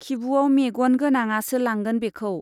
खिबुवाव मेग'न गोनाङासो लांगोन बेखौ।